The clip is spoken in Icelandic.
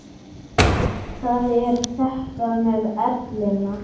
Það er þetta með ellina.